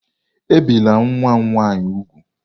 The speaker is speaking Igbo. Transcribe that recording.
Ebìla nwa m nwanyị úgwù!